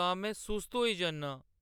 तां मैं सुस्त होई जन्नां।